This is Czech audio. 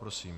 Prosím.